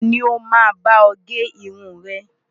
Ta ni ó máa bá ọ gé irun rẹ?